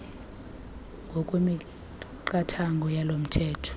ngokwemiqathango yalo mthetho